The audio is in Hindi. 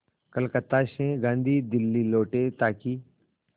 कलकत्ता से गांधी दिल्ली लौटे ताकि